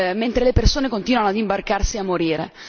mentre le persone continuano ad imbarcarsi e a morire.